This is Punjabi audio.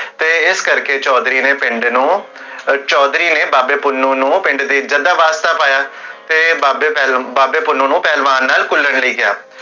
ਤੇ ਇਸ ਕਰ ਕੇ ਚੋਧਰੀ ਨੇ ਪਿੰਡ ਨੂੰ, ਚੋਧਰੀ ਨੇ ਬਾਬੇ ਪੁੰਨੁ ਨੂੰ ਪਿੰਡ ਦੀ ਇਜ੍ਜ਼ਤ ਦਾ ਵਾਸਤਾ ਪਾਇਆ ਤੇ ਬਾਬੇ ਪੁੰਨੁ ਨੂੰ ਪਹਲਵਾਨ ਨਾਲ ਘੁਲਣ ਲਈ ਕੇਹਾ